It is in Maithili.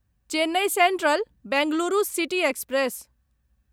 Chennai central Bengaluru city express